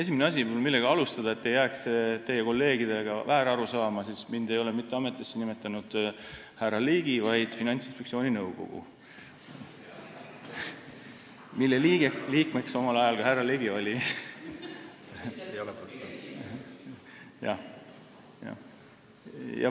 Esimene asi, millega alustada, et ei jääks teie kolleegidele väärarusaama: mind ei ole ametisse nimetanud härra Ligi, vaid Finantsinspektsiooni nõukogu, mille liige ka härra Ligi omal ajal oli.